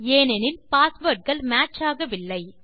ஏனெனில் பாஸ்வேர்டுகள் மேட்ச் ஆகவில்லை